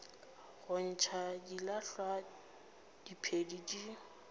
go ntšha dilahlwa diphedi di